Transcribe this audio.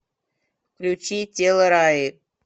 включи тело раи